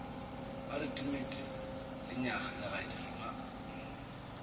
ba re timet lenyaga legadima